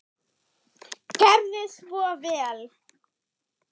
Gerið svo vel.